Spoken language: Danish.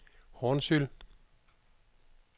Hornsyld